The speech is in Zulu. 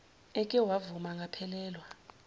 eke wavuma angaphelelwa